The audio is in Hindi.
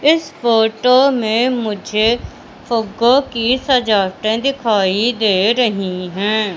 इस फोटो में मुझे फुग्गो की सजावटे दिखाई दे रही हैं।